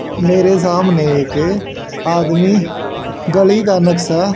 मेरे सामने एक आदमी गली का नुकसा--